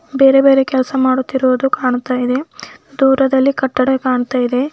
ಬೇರೆ ಬೇರೆ ಕೆಲ್ಸ ಮಾಡುತ್ತಿರುವುದು ಕಾಣತಾಇದೆ ದೂರದಲ್ಲಿ ಕಟ್ಟಡ ಕಾಣತಾಇದೆ.